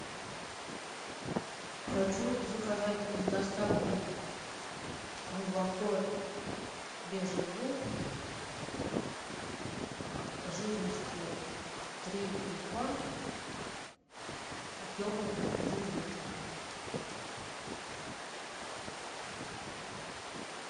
хочу заказать с доставкой молоко бежин луг жирностью три и два объемом один литр